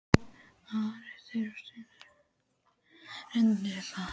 Ari rauf innsigli bréfsins og renndi yfir upphafið.